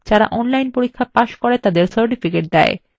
যারা online পরীক্ষা pass করে তাদের certificates দেয়